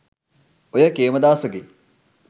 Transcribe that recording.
ඔය කේමදාසගේ